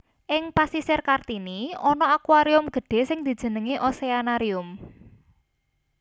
Ing Pasisir Kartini ana aquarium gedhé sing dijenengi Oceanarium